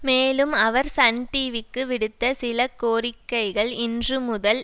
மேலும் அவர் சன் டிவிக்கு விடுத்த சில கோரிக்கைகள் இன்று முதல்